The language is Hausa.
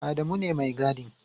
Adamu ne Mai gadin.